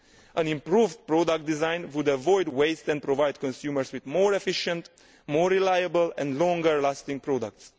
An improved product design would avoid waste and provide consumers with more efficient, more reliable and longer lasting products.